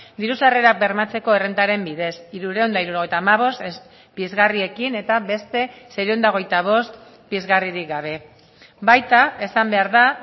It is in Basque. diru sarrerak bermatzeko errentaren bidez hirurehun eta hirurogeita hamabost pizgarriekin eta beste seiehun eta hogeita bost pizgarririk gabe baita esan behar da